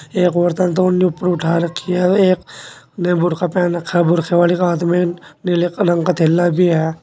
एक औरत ने ऊपर उठा रखी है और एक ने बुर्खा पहन रखा है बुरखे वाली का हाथ में नीले कलर का थैला भी है।